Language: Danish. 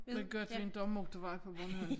Det godt vi inte har motorvej på Bornholm